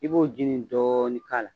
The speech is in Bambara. I b'o ji nin dɔɔni k'a la.